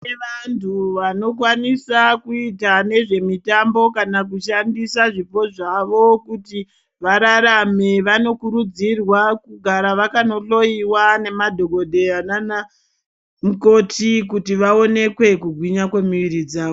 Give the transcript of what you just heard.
Kune vantu vanokwanisa kuite nezve mitambo kana kushandisa zvipo zvavo kuti vararame vanokurudzirwa kugare vakanohloiwa nemadhokoteya nana mukoti kuti vaonekwe kugwinya kwemuviri dzavo .